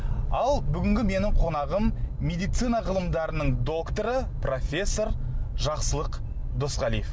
ал бүгінгі менің қонағым медицина ғылымдарының докторы профессор жақсылық досқалиев